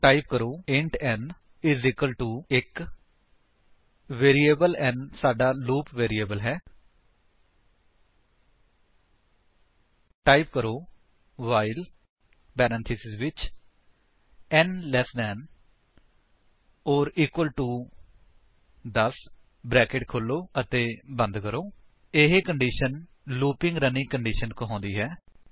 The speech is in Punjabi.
ਟਾਈਪ ਕਰੋ ਇੰਟ n 1 ਵੈਰਿਏਬਲ n ਸਾਡਾ ਲੂਪ ਵੈਰਿਏਬਲ ਹੈ ਟਾਈਪ ਕਰੋ ਵਾਈਲ ਪਰੇਂਥੇਸਿਸ ਵਿੱਚ n less than or equal to 10 bracket ਖੋਲੋ ਅਤੇ ਬੰਦ ਕਰੋ ਇਹ ਕੰਡੀਸ਼ਨ ਲੂਪਿੰਗ ਰਨਿੰਗ ਕੰਡੀਸ਼ਨ ਕਹਾਉਂਦੀ ਹੈ